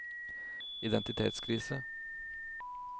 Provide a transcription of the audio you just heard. identitetskrise